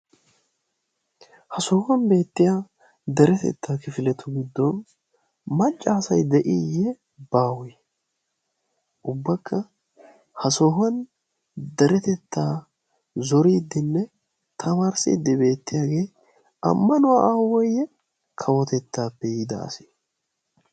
ha sohuwan beettiya deretettaa kifiletu giddon maccaasai de7iiyye baawe? ubbakka ha sohuwan deretettaa zoriiddinne tamaarssiiddi beettiyaagee ammanuwaa aawoyye kawotettaappe yiida ase?